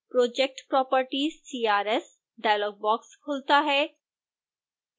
project properties crs dialogue box खुलता है